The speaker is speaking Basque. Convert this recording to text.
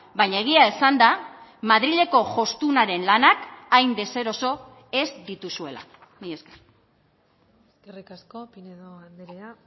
baina egia esanda madrileko jostunaren lanak hain deseroso ez dituzuela mila esker eskerrik asko pinedo andrea